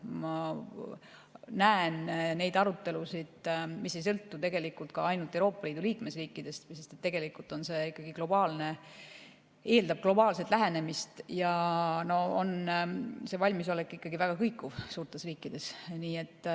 Ma näen arutelusid, mis ei sõltu tegelikult ainult Euroopa Liidu liikmesriikidest, sest tegelikult see eeldab globaalset lähenemist ja valmisolek on suurtes riikides ikkagi väga kõikuv.